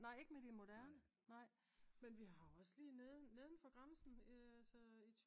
nej ikke med de moderne nej men vi har også lige nedenfor grænsen